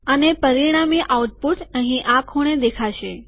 અને પરિણામી આઉટપુટ અહીં આ ખૂણે દેખાશે